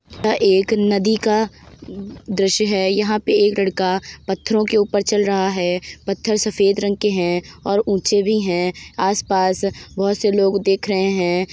यह एक नदी का दृश्य है। यहाँ पे एक लड़का पत्थरो के ऊपर चल रहा है। पत्थर सफेद रंग के हैं और ऊँचे भी हैं। आस-पास बहोत से लोग देख रहे हैं।